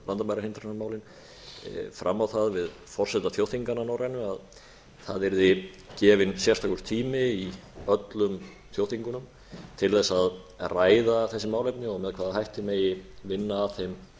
með landamærahindranamálin fram á það við forseta þjóðþinganna norrænu að það yrði gefinn sérstakur tími í öllum þjóðþingunum til þess að ræða þessi málefni og með hvaða hætti megi vinna að þeim með